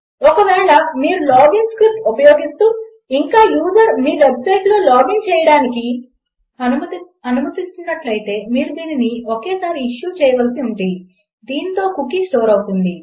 ఒకవేళ మీరు login script ఉపయోగిస్తూ ఇంకా యూజర్ మీ వెబ్సైట్లో లాగిన్ చేయడానికి అనుమతిస్తున్నట్లయితే మీరు దీనిని ఒకే సారి ఇష్యూ చేయవలసి ఉంది దాంతో కుకీ స్టోర్ అవుతుంది